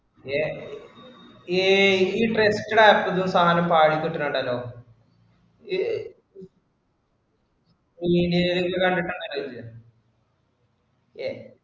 ഏർ ഈ~ഈ trusted app ഈന്നും സാധനം പാളി വിട്ടിട്ടുണ്ടല്ലോ. video ഇലോക്കെ കണ്ടിട്ടാ അങ്ങിനെ ചോദിച്ചേ ഏർ